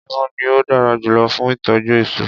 Níbo ni ó dára jùlọ fún ìtọ́jú èso.